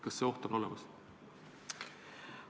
Kas see oht on olemas?